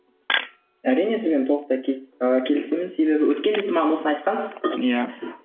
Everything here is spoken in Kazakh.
әрине сізбен толықтай ы келісемін себебі өткенде сіз маған осыны айтқансыз иә